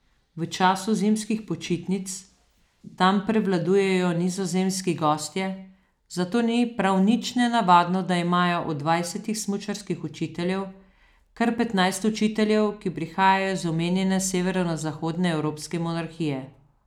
V času zimskih počitnic tam prevladujejo nizozemski gostje, zato ni prav nič nenavadno, da imajo od dvajsetih smučarskih učiteljev kar petnajst učiteljev, ki prihajajo iz omenjene severozahodne evropske monarhije.